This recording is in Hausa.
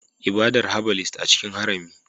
Ibadar herbalist a cikin harami